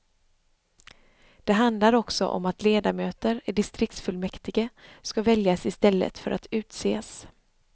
Det handlar också om att ledamöter i distriktsfullmäktige ska väljas i stället för att utses.